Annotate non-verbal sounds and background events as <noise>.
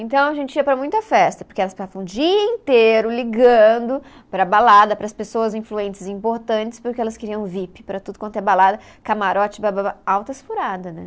Então, a gente ia para muita festa, porque elas <unintelligible> o dia inteiro ligando para a balada, para as pessoas influentes e importantes, porque elas queriam Vip para tudo quanto é balada, camarote, bababa, altas furadas, né?